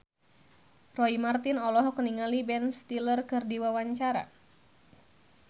Roy Marten olohok ningali Ben Stiller keur diwawancara